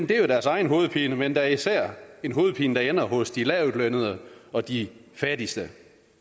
det er jo deres egen hovedpine men da især en hovedpine der ender hos de lavtlønnede og de fattigste